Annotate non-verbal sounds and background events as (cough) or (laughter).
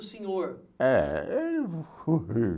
O senhor. Eh (unintelligible)